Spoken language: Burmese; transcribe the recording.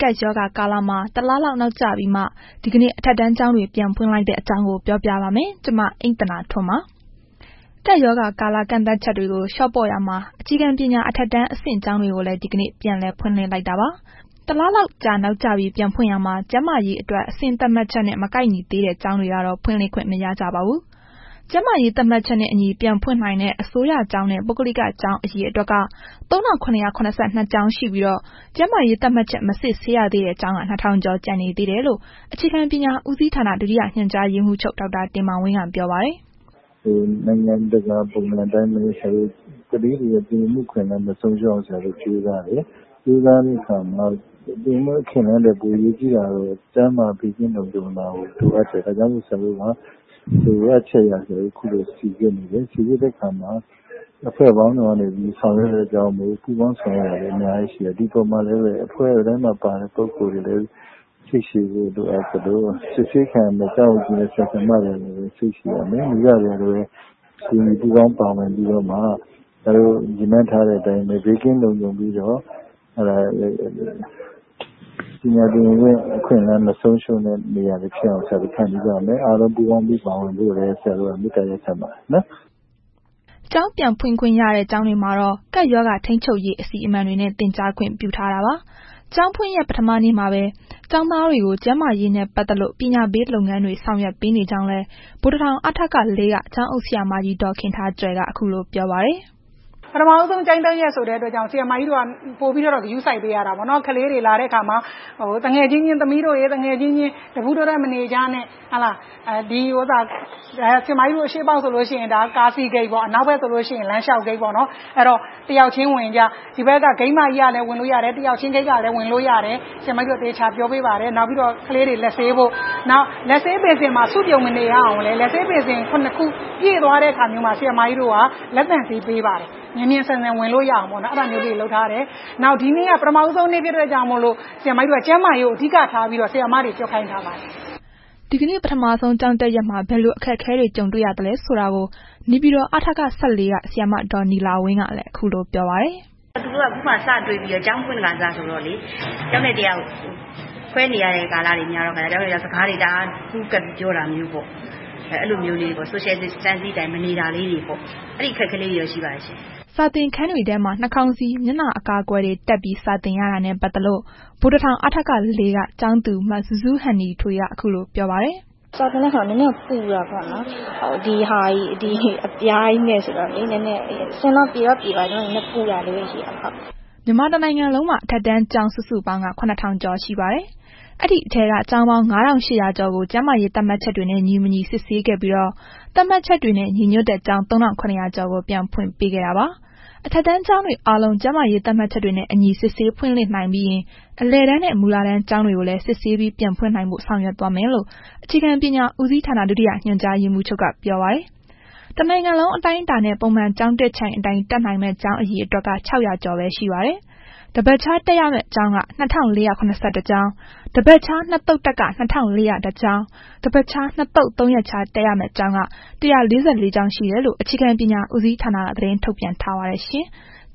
ကပ်ရောဂါကာလမှာ တလလောက် နောက်ကျပြီးမှ ဒီကနေ့ အထက်တန်းကျောင်းတွေ ပြန်ဖွင့်လိုက်တဲ့အကြောင်းကို ဗွီအိုအေ မြန်မာပိုင်းသတင်းထောက် မအိမ့်သန္တာထွန်းက ပြောပြပါမယ်။ ကပ်ရောဂါကာလ ကန့်သတ်ချက်တွေကို လျှော့ပေါ့နေရာမှာ အခြေခံပညာ အထက်တန်းအဆင့် ကျောင်းတွေကိုလည်း ဒီကနေ့ ပြန်လည် ဖွင့်လှစ်လိုက်တာပါ။ တလလောက်ကြာ နောက်ကျပြီး ပြန်ဖွင့်ရာမှာ ကျန်းမာရေးအတွက် အဆင့်သတ်မှတ်ချက်နဲ့ မကိုက်ညီသေးတဲ့ ကျောင်းတွေကတော့ ဖွင့်လှစ်ခွင့်မရကြပါဘူး။ ကျန်းမာရေး သတ်မှတ်ချက်နဲ့အညီ ပြန်ဖွင့်နိုင်တဲ့ အစိုးရကျောင်းနဲ့ ပုဂ္ဂလိကကျောင်း အရေအတွက်က ၃,၇၇၂ ကျောင်းရှိပြီးတော့ ကျန်းမာရေးသတ်မှတ်ချက် မစစ်ဆေးရသေးတဲ့ ကျောင်းက ၂,၀၀၀ ကျော်ကျန်နေသေးတယ်လို့ အခြေခံပညာဦးစီဌာန ဒုတိယ ညွှန်ကြားရေးမှုးချုပ် ဒေါက်တာတင်မောင်ဝင်းက ပြောပါတယ်။ “နိုင်ငံတကာပုံစံအတိုင်းပဲ ဆရာတို့ ကလေးတွေရဲ့ သင်ယူမှုအခွင့်အလမ်း မဆုံးရှုံးအောင် ဆရာတို့ကြိုးစားတယ်။ ကြိုးစားတဲ့အခါမှာ သင်ယူမှု အခွင့်အလမ်းထက် အရေးကြီးတာကတော့ ကျန်းမာရေးနဲ့ ဘေးကင်းလုံခြုံတာကို လိုအပ်တယ်၊ ဒါကြောင့်မို့လို့လည်း ဆရာတို့မှာ လိုအပ်ချက်အရ စိစစ်တယ်။ စိစစ်တဲ့အခါမှာ အဖွဲ့ပေါင်း စုံကနေပြီး ဆောင်ရွက်တဲ့ အတွက်ကြောင့်မို့လို့ ပူးပေါင်းဆောင်ရွက်တာတွေအများကြီးရှိတယ်။ ဒီအပေါ်မှာ လည်းပဲ အဖွဲတိုင်းမှာပါတဲ့ ပုဂ္ဂိုလ်တွေကလည်းပဲ စိတ်ရှည်ဖို့ လိုအပ်သလို စစ်ဆေးခံရမယ့် ကျောင်းအုပ်ကြီးနဲ့ ဆရာဆရာမတွေကလည်းပဲ စိတ်ရှည်ရမယ်။ မိဘတွေကလည်းပဲ ပါဝင်ပူးပေါင်းပြီးတော့မှ ဆရာတို့ရည်မှန်းထားတဲ့အတိုင်းပဲ ဘေးကင်းလုံခြုံပြီးတော့ ပညာသင်ယူမှု အခွင့်အလမ်းမဆုံးရှုံးတဲ့ နေရာဖြစ်အောင် ဆရာတို့ ဖန်တီးရမယ်။ အားလုံးပူးပေါင်းပါဝင်ဖို့လည်း ဆရာတို့ မေတ္တာရပ်ခံပါတယ်။” ကျောင်းပြန်ဖွင့်ခွင့်ရတဲ့ ကျောင်းတွေမှာတော့ ကပ်ရောဂါထိန်းချုပ်ရေး အစီအမံတွေနဲ့ သင်ကြားခွင့်ပြုထားတာပါ။ ကျောင်းဖွင့်ရက် ပထမနေ့မှာပဲ ကျောင်းသားတွေကို ကျန်းမာရေးနဲ့ ပတ်သက်လို့ ပညာပေးလုပ်ငန်းတွေ ဆောင်ရွက်ပေးနေကြောင်းလည်း ဗိုလ်တထောင် အထက ၄ က ကျောင်းအုပ်ဆရာမကြီး ဒေါ်ခင်ထားကြွယ်က ခုလို ပြောပါတယ်။ “ပထမဦးဆုံးကျောင်းတက်ရက်ဆိုတဲ့အတွက်ကြောင့် ဆရာမကြီးတို့က ပိုပြီးတော့ ဂရုစိုက်ပေးရတာပေါ့နော်။ ကလေးတွေလာတဲ့အခါမှာ သမီးတို့ရယ် သူငယ်ချင်းအချင်းချင်း တပူးတွဲတွဲ မနေကြနဲ့၊ ဆရာမကြီးတို့ ဒီ အရှေ့ပေါက်ဆိုလို့ရှိရင် ကားစီးဂိတ် အနောက်ပေါက်ဆိုလို့ရှိရင် လမ်းလျှောက်ဂိတ်ပေါ့။ အဲ့တော့ တစ်ယောက်ချင်းဝင်ကြ ဂိတ်မကြီးကလည်းဝင်လို့ရတယ် နောက်ဘက်ဂိတ်ကလည်း ဝင်လို့ရတယ်၊ ဆရာမကြီးတို့ သေချာပြောပေးပါတယ်၊ နောက်ပြီးတော့ကလေးတွေ လက်ဆေးဖို့၊ လက်ဆေးဘေစင်မှာ စုပြုံမနေဖို့ လက်ဆေးဘေစင် ၇ ခုမှာ ပြည့်သွားတဲ့အခါ လက်သန့်ဆေး ပေးပါတယ်။ မြန်မြန်ဆန်ဆန်ဝင်လို့ရအောင်ပေါ့နော်၊ အဲ့ဒါမျိုးလေးတွေလုပ်ထားတယ်။ နောက်ဒီနေ့က ပထမဦးဆုံးနေ့ ဖြစ်တဲ့အတွက်ကြောင့်မို့လို့ ကျန်းမာရေးကို အဓိကထားပြီးတော့ ဆရာမတွေကို ပြောခိုင်းထားပါတယ်။” ဒီကနေ့ ပထမဆုံးကျောင်းတက်ရက်မှာ ဘယ်လို အခက်အခဲတွေ ကြုံတွေ့ရသလဲဆိုတာကိုလည်း နေပြည်တော် အထက ၁၄ က ဆရာမ ဒေါ်နီလာဝင်းကလည်း ခုလိုပြောပြပါတယ်။ “သူတို့က ခုမှာ စတွေ့ခါစ ကျောင်းဖွင့်ခါစဆိုတော့လေ၊ တစ်ယောက်နဲ့ တစ်ယောက်ခွဲနေရတဲ့ ကာလက များတဲ့ခါကျတော့ တစ်ယောက်နဲ့တစ်ယောက်ပူးကပ်ပြီး စကားတွေအများကြီးပြောတာမျိုးပေါ့။ အဲ့ဒါမျိုးလေးတွေပေါ့၊ Social Distancing အတိုင်းမနေတာလေးတွေပေါ့၊ အဲ့ဒီအခက်အခဲလေးတွေတော့ ရှိပါတယ်ရှင့်။” စာသင်ခန်းတွေထဲမှာ နှာခေါင်းစည်း၊ မျက်နှာအကာအကွယ်တွေ တပ်ထားပြီး စာသင်ရတာနဲ့ ပတ်သက်လို့ ဗိုလ်တထောင် အထက ၄ က ကျောင်းသူ မဇူးဇူးဟန်နီထွေးက ခုလိုပြောပါတယ်။ “စာသင်တဲ့အခါ နည်းနည်းတော့ ပူတာပေါ့နော်၊ ဒီအပြားကြီးနဲ့ဆိုတော့ နည်းနည်း၊ အဆင်တော့ ပြေတော့ပြေပါတယ်၊ နည်းနည်းပူတာလေးပဲ ရှိတာပါ။” မြန်မာတစ်နိုင်ငံလုံးမှာ အထက်တန်းကျောင်း စုစုပေါင်းက ၇,၀၀၀ ကျော်ရှိပါတယ်။ အဲ့ဒီထဲက ကျောင်းပေါင်း ၅,၈၀၀ ကျော်ကို ကျန်းမာရေးသတ်မှတ်ချက်တွေနဲ့ ညီမညီစစ်ဆေးခဲ့ပြီးတော့ သတ်မှတ်ချက်တွေနဲ့ ညီညွှတ်တဲ့ ကျောင်း ၃,၇၀၀ ကျော်ကို ပြန်ဖွင့်ခွင့်ပေးခဲ့တာပါ။ အထက်တန်းကျောင်းတွေအားလုံး ကျန်းမာရေးသတ်မှတ်ချက်တွေနဲ့အညီ စစ်ဆေးဖွင့်လှစ်နိုင်ပြီးရင် အလယ်တန်းနှင့် မူလတန်းကျောင်းတွေကိုလည်း စစ်ဆေးပြီး ပြန်ဖွင်နိုင်ဖို့ ဆောင်ရွက်သွားမယ်လို့ အခြေခံပညာဦးစီးဌာန ဒုတိယညွှန်ကြားရေးမှူးက ပြောပါတယ်။ တစ်နိုင်ငံလုံးအတိုင်းအတာနဲ့ ပုံမှန်ကျောင်းတက်ချိန်အတိုင်းတက်နိုင်မယ့် ကျောင်းအရအေတွက်က ၆၀၀ ကျော်ပဲရှိပါတယ်။ တစ်ပတ်ခြားတက်ရမယ့် ကျောင်းက ၂,၄၇၁ ကျောင်း၊ တစ်ပတ်ခြား နှစ်သုတ်တက်က ၂,၄၀၁ ကျောင်း တစ်ပတ်ခြားနှစ်သုတ် ၃ရက်ခြား တက်ရမယ့် ကျောင်းက ၁၄၄ ကျောင်းရှိတယ်လို့ အခြေခံပညာဦးစီးဌာနက သတင်းထုတ်ပြန်ထားပါတယ်ရှင်။